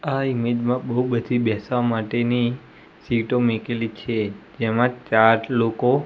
આ ઇમેજ મા બો બધી બેસવા માટેની સીટો મૂકેલી છે જેમા ચાર લોકો--